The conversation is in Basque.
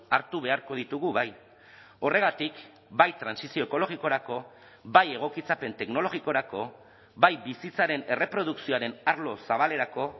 hartu beharko ditugu bai horregatik bai trantsizio ekologikorako bai egokitzapen teknologikorako bai bizitzaren erreprodukzioaren arlo zabalerako